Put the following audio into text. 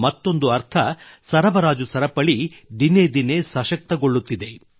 ಮತ್ತೊಂದು ಅರ್ಥ ಸರಬರಾಜು ಸರಪಳಿ ದಿನೇ ದಿನೇ ಸಶಕ್ತಗೊಳ್ಳುತ್ತಿದೆ